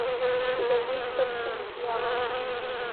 у тебя есть собственность дьявола